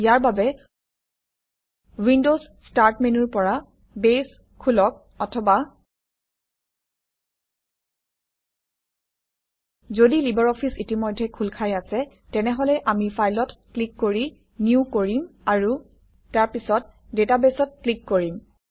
ইয়াৰ বাবে Windows start মেনুৰ পৰা বেছ খোলক অথবা যদি লিবাৰঅফিছ ইতিমধ্যেই খোল খাই আছে তেনেহলে আমি ফাইলত ক্লিক কৰি নিউ কৰিম আৰু তাৰপিছত databaseত ক্লিক কৰিম